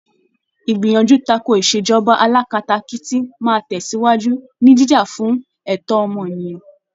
Ìgbìyànjú takò ìṣèjọba alákatakítí máa tẹ̀síwájú, ní jíjà fún ẹ̀tọ́ ọmọnìyàn.